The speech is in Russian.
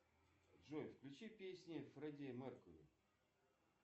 джой включи песни фредди меркьюри